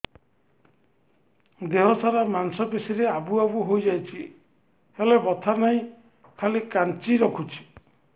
ଦେହ ସାରା ମାଂସ ପେଷି ରେ ଆବୁ ଆବୁ ହୋଇଯାଇଛି ହେଲେ ବଥା ନାହିଁ ଖାଲି କାଞ୍ଚି ରଖୁଛି